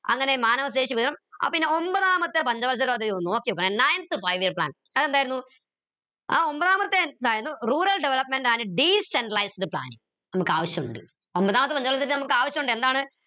അങ്ങനെ ആ പിന്നെ ഒമ്പതാമത്തെ പഞ്ചവത്സര പദ്ധതി ഒന്ന് നോക്കിയൊക്ക് ninth five year plan അതെന്തായിരുന്നു ആ ഒമ്പതാമത്തെ അതായത് rural development and planning നമുക്ക് ആവിശ്യമുണ്ട് ഒമ്പതാമത്തെ പഞ്ചവത്സര പദ്ധതി നമുക്ക് ആവശ്യമുണ്ട് എന്താണ്